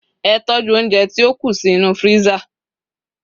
e tọju ounjẹ ti o ku sí inú freezer